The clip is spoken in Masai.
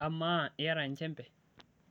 amaa iyata enchembe?